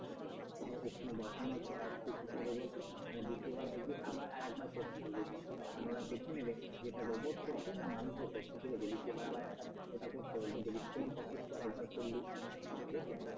ওখানে বসানোর পর তুই কি করবি বলতো মানে দ্বিতীয়বার দেখবি আবার আর একবার কোর্ড টি বলতে বলবে মানে ওরা দেখে নেবে এটা রোবট করছে নাকি মানুষে করছে কি বুঝলি দ্বিতীয়বার আবার একটা ওটা করতে বলবে কপি তুই আর একবার করলি ঠিক আছে